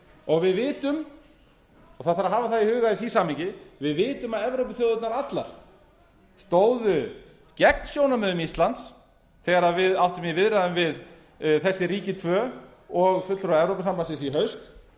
og við vitum og það þarf að hafa það í huga í því samhengi að við vitum að evrópuþjóðirnar allar stóðu gegn sjónarmiðum íslands þegar við áttum í viðræðum við þessi ríki tvö og fulltrúa evrópusambandsins í haust